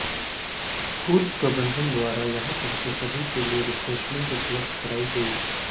school प्रबंधन द्वारा यहां पहुंचे सभी के लिए रिफ्रेशमेंट उपलब्ध करवाई गई